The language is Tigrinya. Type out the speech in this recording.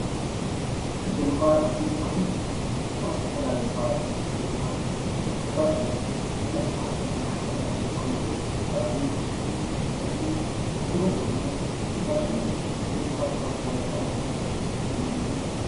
ሕጊ ምኽባር ኣዝዩ ጠቃሚ እዩ። ኣብ ዝተፈላለዩ ኸባቢታት ሕጊ ምኽበር ክኽበር ኣለዎ። ብፍላይ ከዓ ኣብ ብዙሓት ሰባት ዝእከብሉ ኸባቢ ሕጊ ኣዝዩ ጥቡቅ ዝኾነ ክኽበር ኣለዎ ። ሕጊ ምኽባር ካብ ዝተፈላለዮ ሓደጋታት ከናግፈና ይኽእል እዩ ።